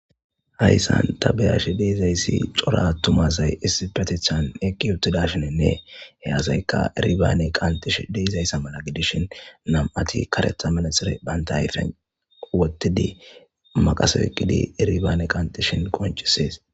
Haysan ta be'ashe dizaysi cora atuma asay issipetetan eqiwuthidashenine he asayka iribane qanxishe de'izaysa mala gidishin nam'ati karetha maraxine banta ayfen wothidi maqase oykidi iribane qanxishin qoncises.